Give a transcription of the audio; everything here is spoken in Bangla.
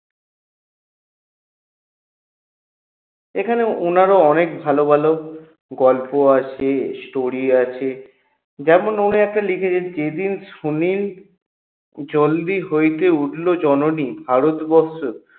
এখানে ওনারও অনেক ভালো ভালো গল্প আছে story আছে যেমন উনি একটা লিখেছে যেদিন সুনিল জলদি হইতে উঠলো জননী ভারতবর্ষ